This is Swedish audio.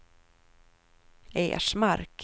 Ersmark